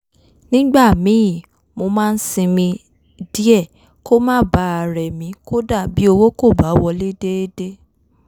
nígbà míì mo máa ń sinmi díẹ̀ kó má bàa rẹ̀ mí kódà bí owó kò bá wọlé déédé